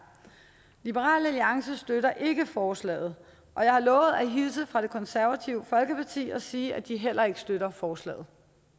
liberal alliance støtter ikke forslaget og jeg har lovet at hilse fra det konservative folkeparti og sige at de heller ikke støtter forslaget